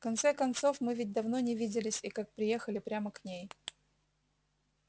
в конце концов мы ведь давно не виделись и как приехали прямо к ней